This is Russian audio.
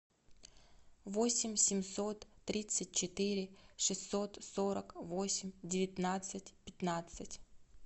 восемь семьсот тридцать четыре шестьсот сорок восемь девятнадцать пятнадцать